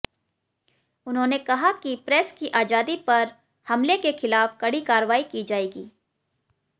उन्होंने कहा कि प्रेस की आजादी पर हमले के खिलाफ कड़ी कार्रवाई की जाएगी